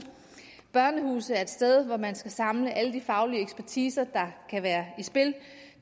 børnehuse er et sted hvor man skal samle alle de faglige ekspertiser der kan være i spil